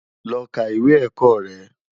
Lò ká iwé èkò rè